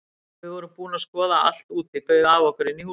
Þegar við vorum búin að skoða allt úti bauð afi okkur inn í húsið sitt.